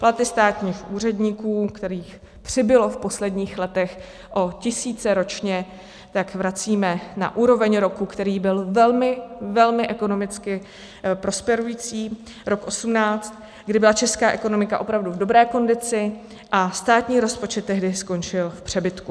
Platy státních úředníků, kterých přibylo v posledních letech o tisíce ročně, tak vracíme na úroveň roku, který byl velmi, velmi ekonomicky prosperující, rok 2018, kdy byla česká ekonomika opravdu v dobré kondici a státní rozpočet tehdy skončil v přebytku.